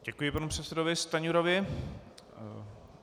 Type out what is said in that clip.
Děkuji panu předsedovi Stanjurovi.